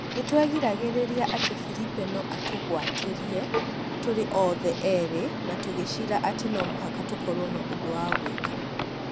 Nĩ twegĩragĩrĩa atĩ Firipe nĩ atũgwatirĩe tũrĩ othe erĩ na tũgĩĩcirĩa atĩ no mũhaka tũkorwo na ũndũwa gwĩka.